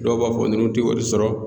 Dɔw b'a fɔ nunnu tɛ wari sɔrɔ.